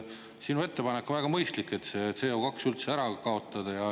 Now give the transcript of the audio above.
Sinu ettepanek on väga mõistlik, et see CO2 üldse ära kaotada.